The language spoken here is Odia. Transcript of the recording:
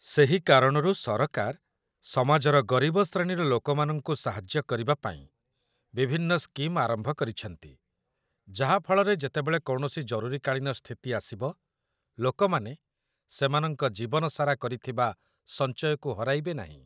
ସେହି କାରଣରୁ ସରକାର ସମାଜର ଗରିବ ଶ୍ରେଣୀର ଲୋକମାନଙ୍କୁ ସାହାଯ୍ୟ କରିବାପାଇଁ ବିଭିନ୍ନ ସ୍କିମ୍ ଆରମ୍ଭ କରିଛନ୍ତି, ଯାହାଫଳରେ ଯେତେବେଳେ କୌଣସି ଜରୁରୀକାଳୀନ ସ୍ଥିତି ଆସିବ, ଲୋକମାନେ ସେମାନଙ୍କ ଜୀବନସାରା କରିଥିବା ସଞ୍ଚୟକୁ ହରାଇବେ ନାହିଁ